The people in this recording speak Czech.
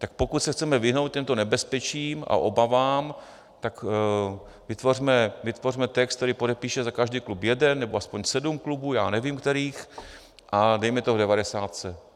Tak pokud se chceme vyhnout těmto nebezpečím a obavám, tak vytvořme text, který podepíše za každý klub jeden, nebo aspoň sedm klubů, já nevím kterých, a dejme to v devadesátce.